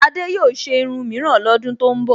Adé yóò ṣe irun míìran lọ́dún tó ń bọ̀